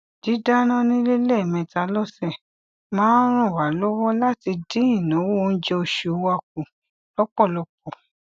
didáná nílé lẹ́ẹ̀mẹta lọsẹ máa ń ràn wá lọwọ láti dín ináwó oúnjẹ oṣù wa kù lọ́pọ̀lọpọ̀